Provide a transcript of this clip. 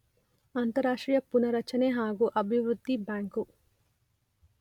ಅಂತಾರಾಷ್ಟ್ರೀಯ ಪುನಾರಚನೆ ಹಾಗೂ ಅಭಿವೃದ್ಧಿ ಬ್ಯಾಂಕು